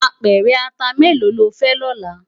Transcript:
Apèrè àtá méló ló fè lòlá?